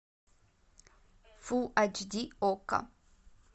фул ач ди окко